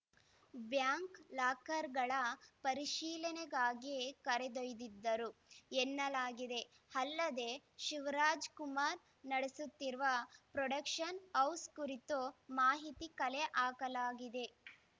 bank ಲಾಕರ್‌ಗಳ ಪರಿಶೀಲನೆಗಾಗಿ ಕರೆದೊಯ್ದಿದ್ದರು ಎನ್ನಲಾಗಿದೆ ಅಲ್ಲದೇ ಶಿವರಾಜ್‌ಕುಮಾರ್‌ ನಡೆಸುತ್ತಿರುವ ಪ್ರೊಡಕ್ಷನ್‌ ಹೌಸ್‌ ಕುರಿತು ಮಾಹಿತಿ ಕಲೆ ಹಾಕಲಾಗಿದೆ